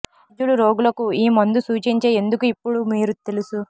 వైద్యులు రోగులకు ఈ మందు సూచించే ఎందుకు ఇప్పుడు మీరు తెలుసు